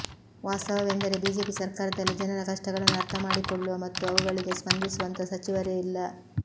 ವಾಸ್ತವವೆಂದರೆ BJP ಸರ್ಕಾರದಲ್ಲಿ ಜನರ ಕಷ್ಟಗಳನ್ನು ಅರ್ಥಮಾಡಿಕೊಳ್ಳುವ ಮತ್ತು ಅವುಗಳಿಗೆ ಸ್ಪಂದಿಸುವಂಥ ಸಚಿವರೇ ಇಲ್ಲ